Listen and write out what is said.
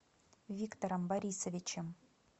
виктором борисовичем